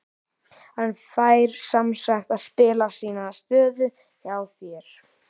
Hann fær semsagt að spila sína stöðu hjá þér?